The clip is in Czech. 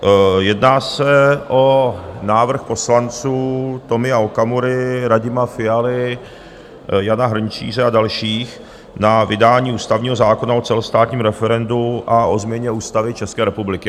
Jedná se o návrh poslanců Tomia Okamury, Radima Fialy, Jana Hrnčíře a dalších na vydání ústavního zákona o celostátním referendu a o změně Ústavy České republiky.